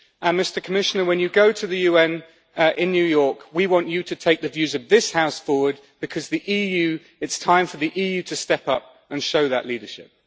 Mr Commissioner, when you go to the UN in New York, we want you to take the views of this House forward, because it is time for the EU to step up and show that leadership.